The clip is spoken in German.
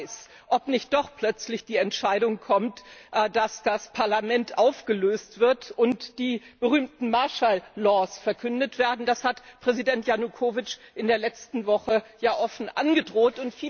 Keiner weiß, ob nicht doch plötzlich die Entscheidung kommt, dass das Parlament aufgelöst wird und die berühmten martial laws verkündet werden, das hat Präsident Janukowytsch in der letzte Woche ja offen angedroht.